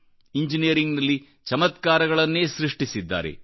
ಇಂಜಿನಿಯರಿಂಗ್ನಲ್ಲಿ ಚಮತ್ಕಾರಗಳನ್ನೇ ಸೃಷ್ಟಿಸಿದ್ದಾರೆ